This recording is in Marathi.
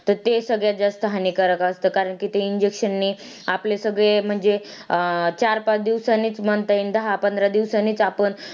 त ते सगळ्यात जास्त हानिकारक असता कारण कि ते injection नी आपले सगळे म्हणजे चार- पाच दिवसांनीच म्हणता येईल दहा-पंधरा दिवसांनीच आपण.